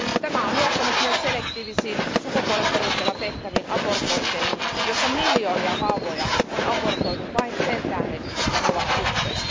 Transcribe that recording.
Tämä on johtanut myös selektiivisiin sukupuolen perusteella tehtäviin abortointeihin, jossa miljoonia vauvoja on abortoitu vain sen tähden, että he ovat tyttöjä.